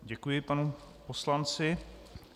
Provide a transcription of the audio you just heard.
Děkuji panu poslanci.